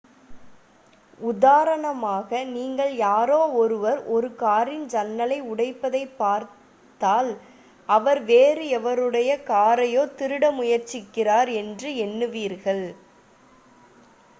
உதாரணமாக நீங்கள் யாரோ ஒருவர் ஒரு காரின் ஜன்னலை உடைப்பதைப் பார்த்தால் அவர் வேறு எவருடைய காரையோ திருட முயற்சிக்கிறார் என்றே எண்ணுவீர்கள்